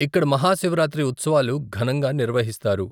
ఇక్కడ మహా శివరాత్రి ఉత్సవాలు ఘనంగా నిర్వహిస్తారు.